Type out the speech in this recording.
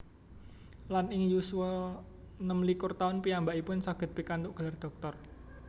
Lan ing yuswa 26 taun piyambakipun saged pikantuk gelar dhoktor